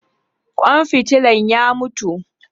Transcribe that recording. Kwan fitila ya mutu